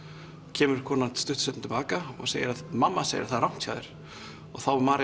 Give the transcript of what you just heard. kemur konan stuttu seinna til baka og segir mamma segir að það er rangt hjá þér og þá